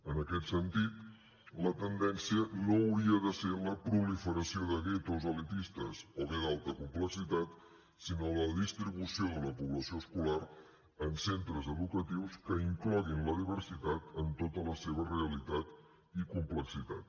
en aquest sentit la tendència no hauria de ser la proliferació de guetos elitistes o bé d’alta complexitat sinó la distribució de la població escolar en centres educatius que incloguin la diversitat en tota la seva realitat i complexitat